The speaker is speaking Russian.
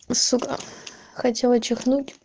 сука хотела чихнуть